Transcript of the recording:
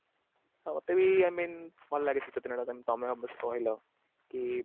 ଆଉ ମତେ ବି I mean ଭଲ ଲାଗେ ଶୀତ ଦିନଟା କଇଁନା ତମେ କହିଲ କି